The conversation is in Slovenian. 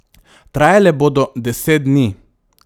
Trajale bodo deset dni.